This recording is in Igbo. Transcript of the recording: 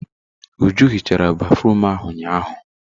Uju hichara béfrụm ahụ ụnyahụ.